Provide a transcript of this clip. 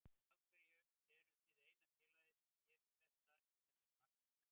Af hverju eruð þið eina félagið sem gerir þetta í þessu magni?